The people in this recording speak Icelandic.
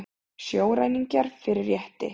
Sjóræningjar fyrir rétti